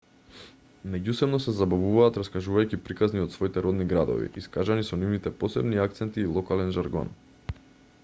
меѓусебно се забавуваат раскажувајќи приказни од своите родни градови искажани со нивните посебни акценти и локален жаргон